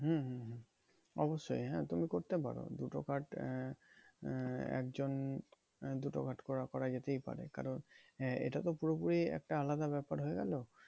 হম হম হম অবশ্যই হ্যাঁ তুমি করতে পারো। দুটো card আহ একজন দুটো card করা করা যেতেই পারে। কারণ এটা তো পুরোপুরি একটা আলাদা ব্যাপার হয়ে গেলো।